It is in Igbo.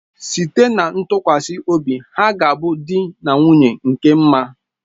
Site na ntụkwasị obi ha ga a bụ di na nwunye nke mma